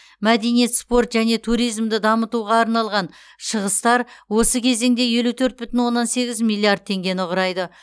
мәдениет спорт және туризмді дамытуға арналған шығыстар осы кезеңде елу төрт бүтін оннан сегіз миллиард теңгені құрайды